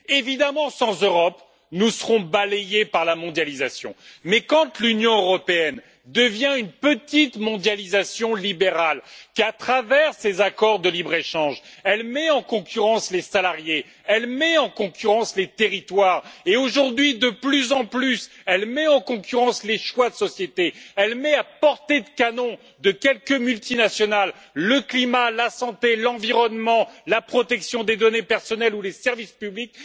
Évidemment, sans Europe, nous serons balayés par la mondialisation, mais quand l'Union européenne devient une petite mondialisation libérale et qu'à travers ses accords de libre-échange, elle met en concurrence les salariés, les territoires et, aujourd'hui, de manière croissante, les choix de société, elle met à portée de canon de quelques multinationales le climat, la santé, l'environnement, la protection des données personnelles ou les services publics.